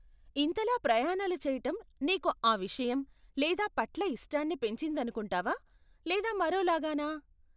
ఇంతలా ప్రయాణాలు చేయటం నీకు ఆ విషయం, లేదా పట్ల ఇష్టాన్ని పెంచిందనుకుంటావా, లేదా మరోలాగా నా?